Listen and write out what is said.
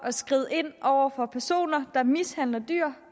at skride ind over for personer der mishandler dyr